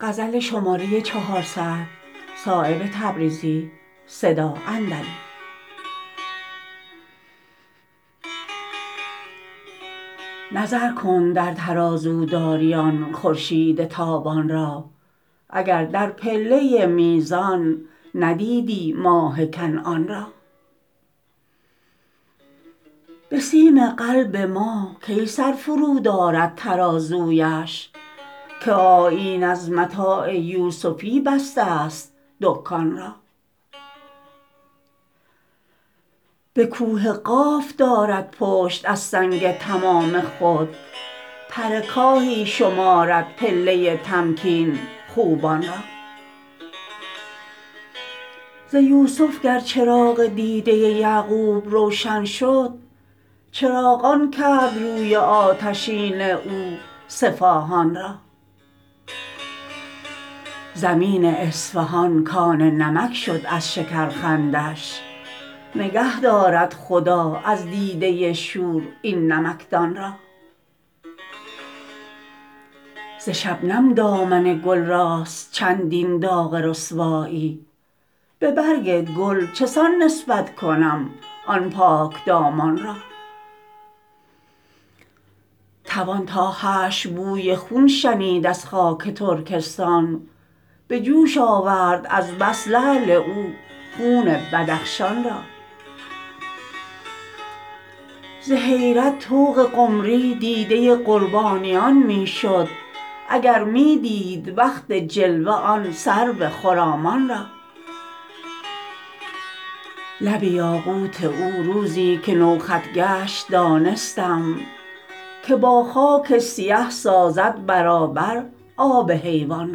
نظر کن در ترازو داری آن خورشید تابان را اگر در پله میزان ندیدی ماه کنعان را به سیم قلب ما کی سر فرود آرد ترازویش که آیین از متاع یوسفی بسته است دکان را به کوه قاف دارد پشت از سنگ تمام خود پر کاهی شمارد پله تمکین خوبان را ز یوسف گر چراغ دیده یعقوب روشن شد چراغان کرد روی آتشین او صفاهان را زمین اصفهان کان نمک شد از شکر خندش نگه دارد خدا از دیده شور این نمکدان را ز شبنم دامن گل راست چندین داغ رسوایی به برگ گل چسان نسبت کنم آن پاکدامان را توان تا حشر بوی خون شنید از خاک ترکستان به جوش آورد از بس لعل او خون بدخشان را ز حیرت طوق قمری دیده قربانیان می شد اگر می دید وقت جلوه آن سرو خرامان را لب یاقوت او روزی که نوخط گشت دانستم که با خاک سیه سازد برابر آب حیوان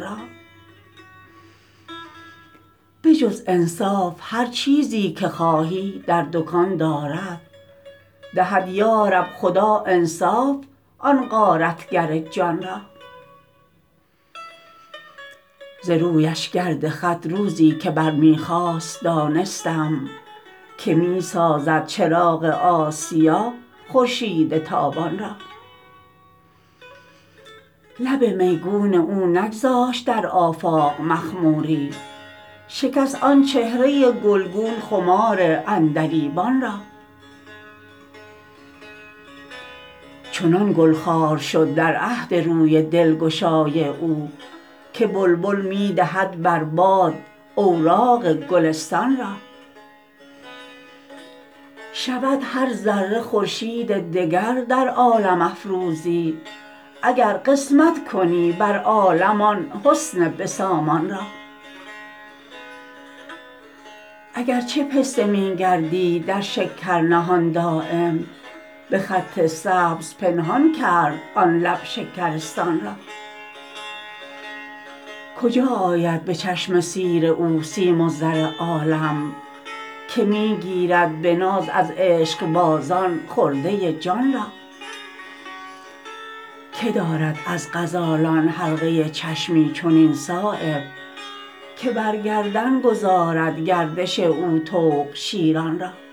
را به جز انصاف هر چیزی که خواهی در دکان دارد دهد یارب خدا انصاف آن غارتگر جان را ز رویش گرد خط روزی که بر می خاست دانستم که می سازد چراغ آسیا خورشید تابان را لب میگون او نگذاشت در آفاق مخموری شکست آن چهره گلگون خمار عندلیبان را چنان گل خوار شد در عهد روی دلگشای او که بلبل می دهد بر باد اوراق گلستان را شود هر ذره خورشید دگر در عالم افروزی اگر قسمت کنی بر عالم آن حسن به سامان را اگر چه پسته می گردید در شکر نهان دایم به خط سبز پنهان کرد آن لب شکرستان را کجا آید به چشم سیر او سیم و زر عالم که می گیرد به ناز از عشقبازان خرده جان را که دارد از غزالان حلقه چشمی چنین صایب که بر گردن گذارد گردش او طوق شیران را